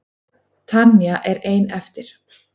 Tanya er ein eftir.